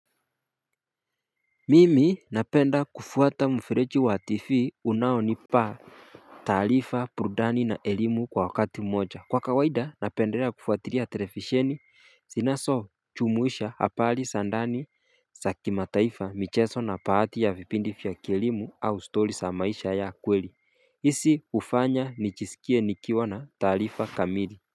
Mimi napenda kufuata mfereji wa TV unaonipa taarifa burudani na elimu kwa wakati mmoja. Kwa kawaida napendela kufuatilia televisheni zinazojumuisha habari za ndani za kimataifa michezo na baadhi ya vipindi vya kielimu au stori za maisha ya kweli hizi hufanya nijisikie nikiwa na taarifa kamili.